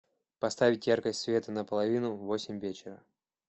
поставить яркость света на половину в восемь вечера